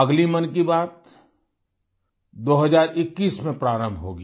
अगली मन की बात 2021 में प्रारम्भ होगी